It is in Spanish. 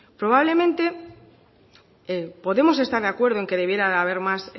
probablemente podemos estar de acuerdo en que debiera de haber más